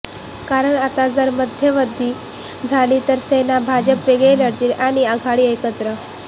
कारण आता जर मध्यावधी झाली तर सेना भाजप वेगळे लढतील आणि आघाडी एकत्र